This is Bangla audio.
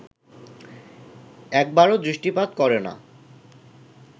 একবারও দৃষ্টিপাত করে না